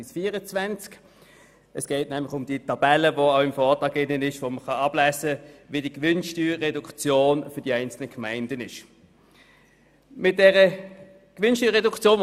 Dabei geht es um die Tabelle im Vortrag auf den Seiten 57 bis 64, wo man die Gewinnsteuerreduktion für die einzelnen Gemeinden ablesen kann.